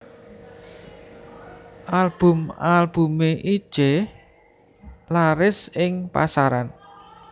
Album album Itje laris ing pasaran